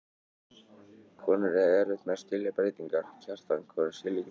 Konur eiga erfitt með að skilja breytingar, Kjartan, konur skilja ekki breytingar.